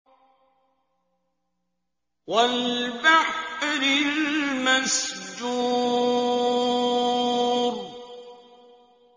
وَالْبَحْرِ الْمَسْجُورِ